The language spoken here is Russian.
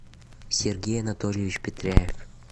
сергей анатольевич петряев